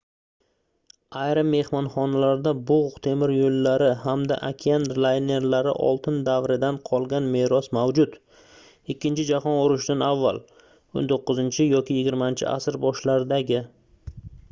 ayrim mehmonxonalarda bugʻ temir yoʻllari hamda okean laynerlari oltin davridan qolgan meros mavjud ikkinchi jahon urushidan avval 19 yoki 20-asr boshlaridagi